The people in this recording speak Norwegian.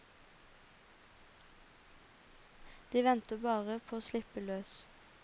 De venter bare på å slippe løs.